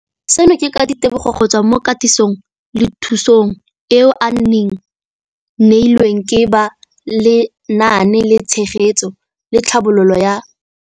Seno ke ka ditebogo go tswa mo katisong le thu song eo a e neilweng ke ba Lenaane la Tshegetso le Tlhabololo ya